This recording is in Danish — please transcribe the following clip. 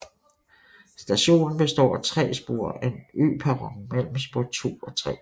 Stationen består af tre spor og en øperron mellem spor 2 og 3